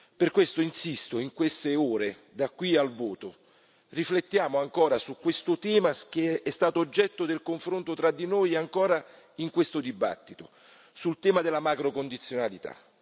Per questo insisto, in queste ore da qui al voto riflettiamo ancora su questo tema che è stato oggetto del confronto tra di noi, ancora in questo dibattito sul tema della macrocondizionalità.